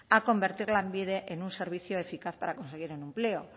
a convertir lanbide en un servicio eficaz para conseguir un empleo